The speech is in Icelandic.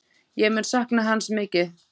Ég mun sakna hans mikið.